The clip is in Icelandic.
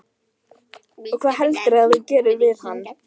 Jón Júlíus: Og hvað heldurðu að þú gerir við hann?